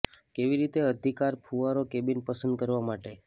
કેવી રીતે અધિકાર ફુવારો કેબિન પસંદ કરવા માટે